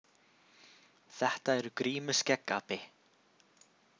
Þetta eru grímuskeggapi.